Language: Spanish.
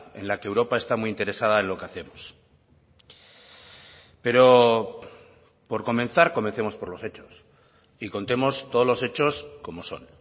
en la que europa está muy interesada en lo que hacemos pero por comenzar comencemos por los hechos y contemos todos los hechos como son